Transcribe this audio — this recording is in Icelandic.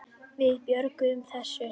Við björgum þessu.